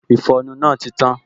Ìfọnu náà ti tán